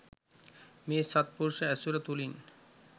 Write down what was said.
මේ සත්පුරුෂ ඇසුර තුළින්